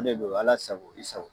de do Ala sago i sago.